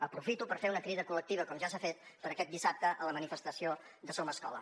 aprofito per fer una crida col·lectiva com ja s’ha fet per a aquest dissabte a la manifestació de somescola